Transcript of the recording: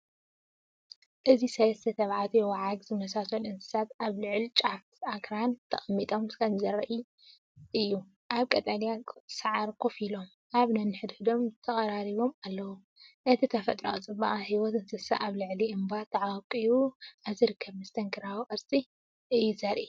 እዚ ሰለስተ ተባዕትዮ ዋዓግ ዝመስሉ እንስሳታት ኣብ ልዑል ጫፍ ኣኽራን ተቐሚጦም ከምዘለዉ ዘርኢ እዩ። ኣብ ቀጠልያ ሳዕሪ ኮፍ ኢሎም፡ኣብ ነንሕድሕዶም ተቐራሪቦም ኣለዉ። እቲ ተፈጥሮኣዊ ጽባቐን ህይወት እንስሳታትን ኣብ ልዕሊ እምባ ተዓቚቡ ኣብ ዝርከብ መስተንክር ቅርጺ እዩ ዝረአ።